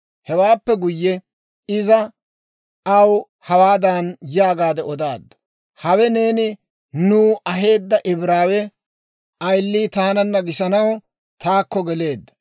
Hewaappe guyye, iza aw hawaadan yaagaadde odaaddu; «Hewe neeni nuw aheedda Ibraawe ayilii taananna gisanaw taakko geleedda;